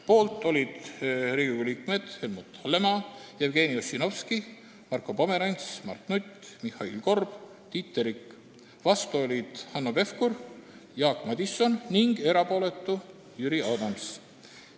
Poolt olid Riigikogu liikmed Helmut Hallemaa, Jevgeni Ossinovski, Marko Pomerants, Mart Nutt, Mihhail Korb ja Tiit Terik, vastu olid Hanno Pevkur ja Jaak Madison ning erapooletuks jäi Jüri Adams.